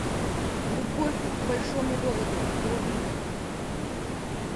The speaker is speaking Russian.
любовь к большому городу вруби